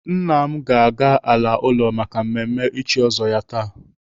Nna m ga-ala ụlọ maka mmemme ịchị ọzọ ya taa.